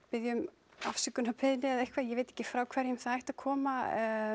biðja um afsökunarbeiðni eða eitthvað ég veit ekki frá hverjum það ætti að koma